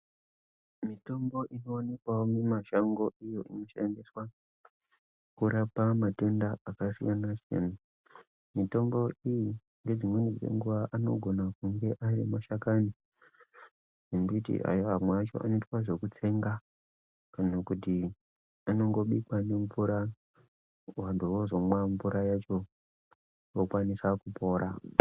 Mitombo inowanikwawo mumashango iyo inoshandiswa kurapa matenda akasiyana siyana . Mitombo iyi nedzimweni dzenguwa anogona kunge ari mashakani embiti ayo amweacho anoitwa zvekutsenga kana kuti anongobikwa nemvura vantu vozomwa mvura yacho vokwanisa kupora .